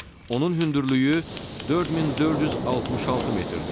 Onun hündürlüyü 4466 metrdir.